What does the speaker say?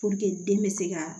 den bɛ se ka